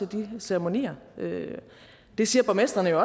de ceremonier det siger borgmestrene jo